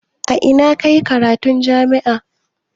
A ina ka yi karatun jami'a?